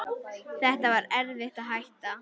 Það var erfitt að hætta.